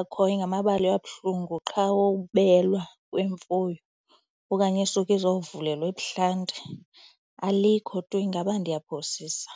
akhoyo ngamabali abuhlungu qha wobelwa kwemfuyo okanye isuke izovulelwa ebuhlanti. Alikho tu ingaba ndiyaphosisa.